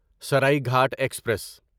Saraighat express